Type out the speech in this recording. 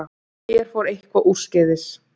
En hér fór eitthvað úrskeiðis.